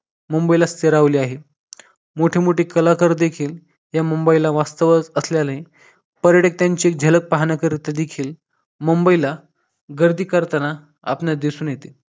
मुंबईला फिरवले आहे. मोठे मोठे कलाकार देखील या मुंबईला वास्तवत असल्याने पर्यटक त्यांची झलक पाहण्याकरिता देखील मुंबईला गर्दी करताना आपणास दिसून येते